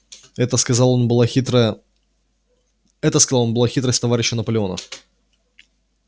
это сказал он была хитрость товарища наполеона